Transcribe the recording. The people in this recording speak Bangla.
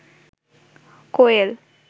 কোয়েল